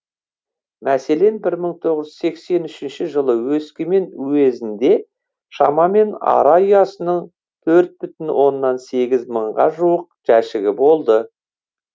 мәселен бір мың тоғыз жүз сексен үшінші жылы өскемен уезінде шамамен ара ұясының төрт бүтін оннан сегіз мыңға жуық жәшігі болды